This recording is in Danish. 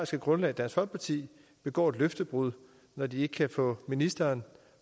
grundlag dansk folkeparti begår et løftebrud når de ikke kan få ministeren